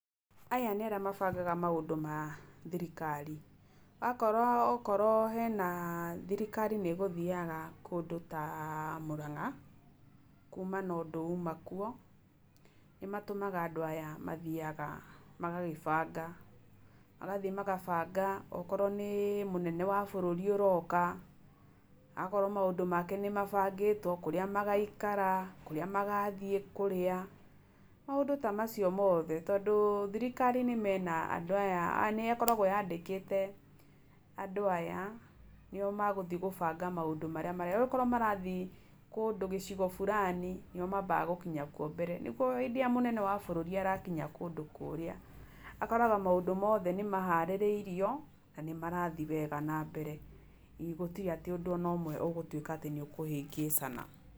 Aya nĩ arĩa mabangaga maũndũ mathirikari. Akorwo okorwo hena, thirikari nĩ ĩgũthiaga kũndũ taMũrang'a, kuuna na ũndũ uma kuo, nĩmatũmaga andũ aya mathiaga magagĩbanga, okorwo nĩ mũnene wa bũrũri ũroka, agakora maũndũ make nĩ mabangĩtwo, kũrĩa magaikara, kũrĩa magathiĩ kũrĩa, maũndũ tamacio mothe. Tondũ thirikari mena andũ aya, nĩ akoragwo andĩkĩte andũ aya, nĩo megũthiĩ gũbanga maũndũ maya. Okorwo marathiĩ kũndũ cigico fulani, nĩo mambaga gũkinya kuo mbere, nĩguo hĩndĩ ĩrĩa mũnene wa bũrũri arakinya kũndũ kũrĩa, akoraga maũndũ mothe nĩmaharĩrĩirio, na nĩmarathiĩ wega nambere, gũtirĩ atĩ ũndũ ona ũmwe ũgũtuĩka atĩ nĩ ũkĩhĩngĩcana.